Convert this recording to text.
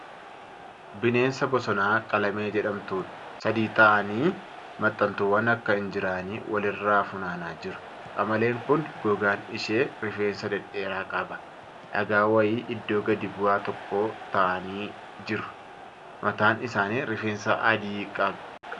bineensa bosonaa qamalee jedhamtuudha. sadi ta'anii ta'anii maxxantuuwwan akka injiraanii wal irraa funaanaa jiru. Qamaleen kun gogaan ishee rifeensa dhedheeraa qaba. Dhagaa wayii iddoo gadi bu'aa tokko taa'anii jiru. Mataan isaanii rifeensa addii qaba.